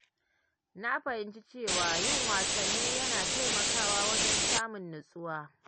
Na fahimci cewa yin wasanni yana taimakawa wajen samun nutsuwa.